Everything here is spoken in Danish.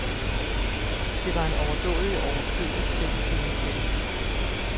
Det var en overdådig og overflødig selviscenesættelse.